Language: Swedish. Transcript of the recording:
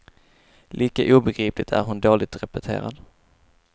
Lika obegripligt är hon dåligt repeterad.